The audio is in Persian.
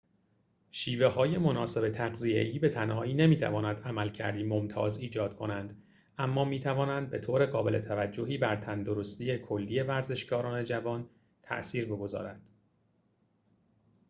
شیوه‌های مناسب تغذیه‌ای به تنهایی نمی‌تواند عملکردی ممتاز ایجاد کنند اما می‌توانند به طور قابل توجهی بر تندرستی کلی ورزشکاران جوان تأثیر بگذارد